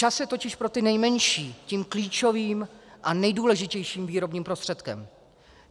Čas je totiž pro ty nejmenší tím klíčovým a nejdůležitějším výrobním prostředkem.